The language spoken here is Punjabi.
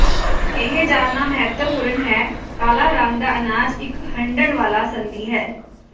ਇਹ ਜਾਣਨਾ ਮਹੱਤਵਪੂਰਣ ਹੈ ਕਾਲਾ ਰੰਗ ਦਾ ਅਨਾਜ ਇੱਕ ਹੰਢਣ ਵਾਲਾ ਸੰਧੀ ਹੈ